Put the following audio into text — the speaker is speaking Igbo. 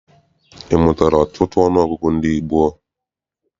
Ị mụtala ọtụtụ ọnụọgụgụ ndị gboo?